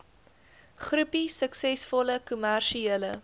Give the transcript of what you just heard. groepie suksesvolle kommersiële